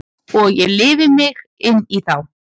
Og ég lifi mig inn í þá.